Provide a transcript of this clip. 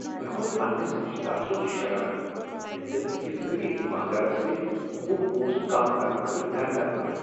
مےٚ کھوٚت پنٛنس رشتہٕ دار سنٛد شرارت ییٚلہ تٔمۍ أکس غریب دکاندارس سۭتۍ وُہ پونٛسہٕ کم کرنہٕ خٲطرٕ درٕ در کٔر